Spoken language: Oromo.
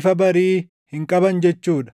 ifa barii hin qaban jechuu dha.